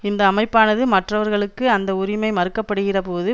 இந்த அமைப்பானது மற்றவர்களுக்கு அந்த உரிமை மறுக்கப்படுகிறபோது